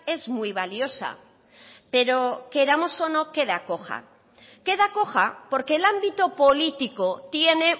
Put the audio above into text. es muy valiosa pero queramos o no queda coja queda coja porque el ámbito político tiene